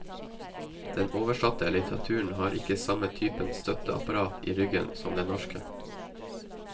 Den oversatte litteraturen har ikke samme typen støtteapparat i ryggen som den norske.